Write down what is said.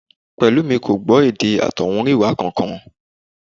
Pẹ̀lúmi kò gbọ́ èdè àtọ̀húnrìnwá kankan